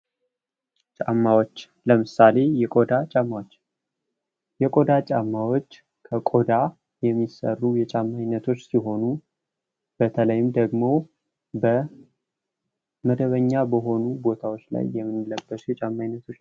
ጫማዎች ለምሳሌ የቆዳ ጫማዎች የቆዳ ጫማዎች ከቆዳ የሚሰሩ የጫማ አይነቶች ሲሆኑ በተለይ ደግሞ በመደበኛ በሆኑ ቦታዎች ላይ የምንለብሳቸዉ የጫማ አይነቶች ናቸዉ።